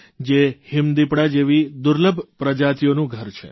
જે હિમદિપડા જેવી દુર્લભ પ્રજાતિઓનું ઘર છે